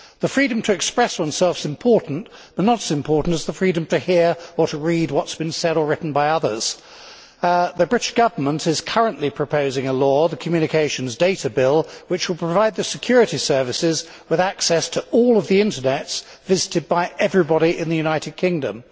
The freedom to express oneself is important, but not as important as the freedom to hear or read what has been said or written by others. The British Government is currently proposing a law the Communications Data Bill which will provide the security services with access to all of the internet sites visited by everyone in the United Kingdom.